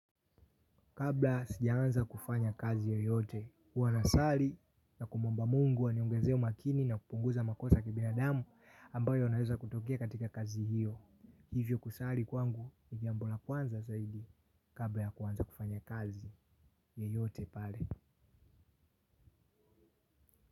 Kabla sijaanza kufanya kazi yoyote, huwa nasali na kumwomba mungu aniongeze umakini na kupunguza makosa kibinadamu ambayo inaweza kutokea katika kazi hiyo. Hivyo kusali kwangu ni jambo la kwanza zaidi kabla ya kuanza kufanya kazi yoyote pale.